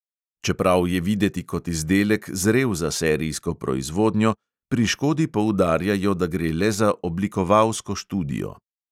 Čeprav je videti kot izdelek, zrel za serijsko proizvodnjo, pri škodi poudarjajo, da gre le za oblikovalsko študijo.